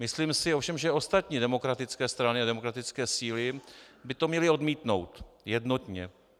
Myslím si ovšem, že ostatní demokratické strany a demokratické síly by to měly odmítnout jednotně.